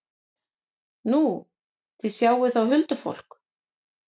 Nú, þið sjáið þá huldufólk?